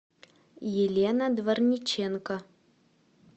елена дворниченко